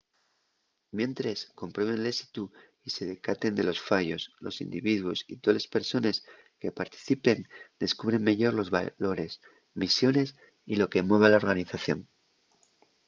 mientres comprueben l’ésitu y se decaten de los fallos los individuos y toles persones que participen descubren meyor los valores misiones y lo que mueve a la organización